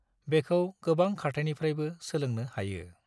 बेखौ गोबां खारथाइनिफ्रायबो सोलोंनो हायो।